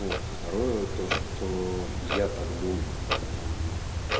вот второе то что я так думаю я ну